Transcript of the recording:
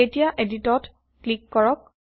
এতিয়া এদিটত ক্লিক কৰক